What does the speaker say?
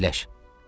Əyləş" dedi.